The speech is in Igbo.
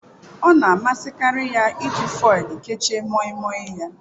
Ọ na-amasịkarị ya iji foil kechie Moimoi ya.